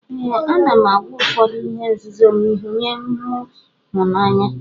Ee anam agwa ụfọdu ihe nzuzom nye mu hu na anya.